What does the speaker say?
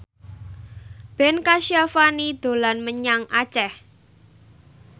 Ben Kasyafani dolan menyang Aceh